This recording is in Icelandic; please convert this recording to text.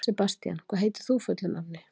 Sebastían, hvað heitir þú fullu nafni?